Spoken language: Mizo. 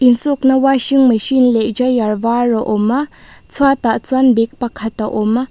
insukna washing machine leh dryer vâr a awm a chhuatah chuan bag pakhat a awm.